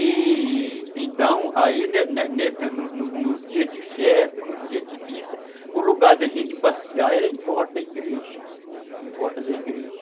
E, então, aí nos dias de festa, nos dias de missa, o lugar da gente passear era em volta da igreja, em volta da igreja.